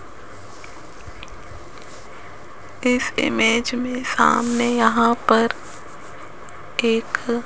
इस इमेज में सामने यहां पर एक--